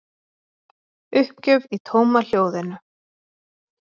Uppgjöf í tómahljóðinu.